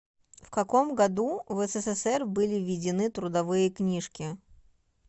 в каком году в ссср были введены трудовые книжки